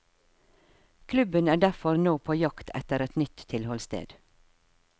Klubben er derfor nå på jakt etter et nytt tilholdssted.